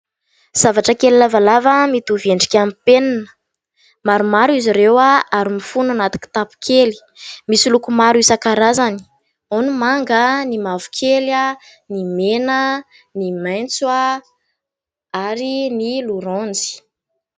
Zavatra kely lavalava mitovy endrika amin'ny penina. Maromaro izy ireo ary mifono anaty kitapo kely. Misy loko maro isan-karazany. Ao ny manga, ny mavokely, ny mena ny maitso ary ny loranjy.